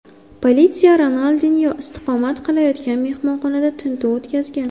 Politsiya Ronaldinyo istiqomat qilayotgan mehmonxonada tintuv o‘tkazgan.